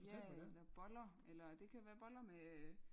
Ja eller boller eller det kan være boller med